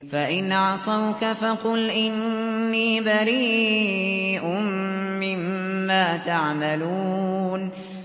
فَإِنْ عَصَوْكَ فَقُلْ إِنِّي بَرِيءٌ مِّمَّا تَعْمَلُونَ